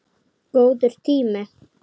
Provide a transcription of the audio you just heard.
Góður tími.